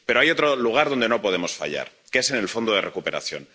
Pero hay otro lugar donde no podemos fallar en el Fondo de Recuperación.